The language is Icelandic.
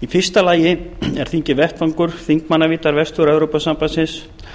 í fyrsta lagi er þingið vettvangur þingmanna vestur evrópusambandsins